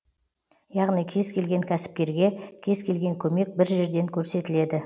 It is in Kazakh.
яғни кез келген кәсіпкерге кез келген көмек бір жерден көрсетіледі